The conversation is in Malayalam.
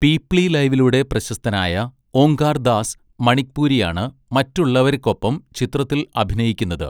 പീപ്ലി ലൈവിലൂടെ പ്രശസ്തനായ ഓംകാർ ദാസ് മണിക്പുരിയാണ് മറ്റുള്ളവര്ക്കൊപ്പം ചിത്രത്തിൽ അഭിനയിക്കുന്നത്.